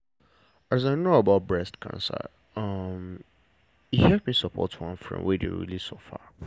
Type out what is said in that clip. as i know about breast cancer um e help me support one friend wey dey really suffer.